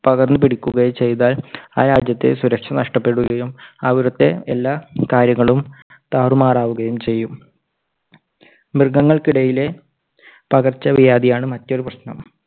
പകർന്നു പിടിക്കുകയോ ചെയ്താൽ ആ രാജ്യത്തെ സുരക്ഷ നഷ്ടപ്പെടുകയും അവിടുത്തെ എല്ലാ കാര്യങ്ങളും താറുമാറാക്കുകയും ചെയ്യും. മൃഗങ്ങൾക്കിടയിലെ പകർച്ചവ്യാധിയാണ് മറ്റൊരു പ്രശ്നം.